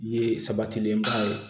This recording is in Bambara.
Ye sabatilenba ye